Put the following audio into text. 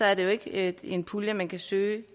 er det jo ikke en pulje man kan søge